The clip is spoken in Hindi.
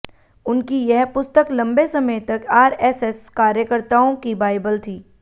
उनकी यह पुस्तक लंबे समय तक आरएसएस कार्यकर्ताओं की बाईबल थी